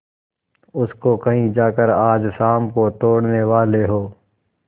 उसको कहीं जाकर आज शाम को तोड़ने वाले हों